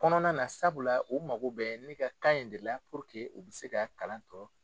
Kɔnɔna na sabula u mago be ne ka kan in de la puruke u be se ka kalan tɔ